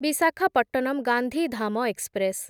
Visakhapatnam Gandhidham express